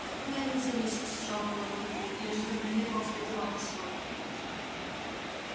откуда они взялись сжал кулаки вуд я же забронировал стадион на сегодня